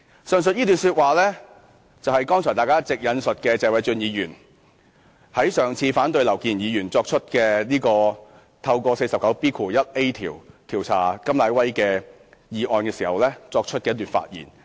"上述一段說話是大家剛才一直引述，謝偉俊議員在上次反對前議員劉健儀根據《議事規則》第 49B 條調查甘乃威的議案時作出的發言。